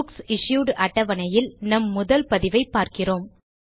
books issued அட்டவணையில் நம் முதல் பதிவை பார்க்கிறோம்